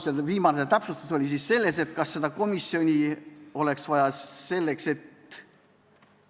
See viimane täpsustus oli siis, et kas seda komisjoni oleks vaja selleks, et ...